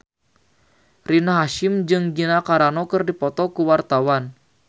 Rina Hasyim jeung Gina Carano keur dipoto ku wartawan